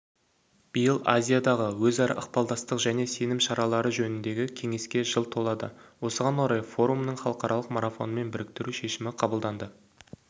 биыл азиядағы өзара ықпалдастық және сенім шаралары жөніндегі кеңеске жыл толады осыған орай форумын халықаралық марафонмен біріктіру шешімі қабылданды